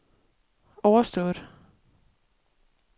overstået